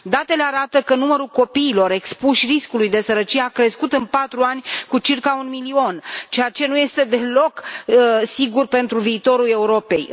Datele arată că numărul copiilor expuși riscului de sărăcie a crescut în patru ani cu circa un milion, ceea ce nu este deloc sigur pentru viitorul Europei.